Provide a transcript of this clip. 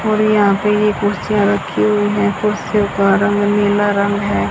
और यहां पे ये कुर्सियां रखी हुई हैं कुर्सियों का रंग नीला रंग है।